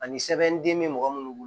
Ani sɛbɛnden bɛ mɔgɔ minnu bolo